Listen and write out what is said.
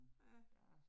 Ja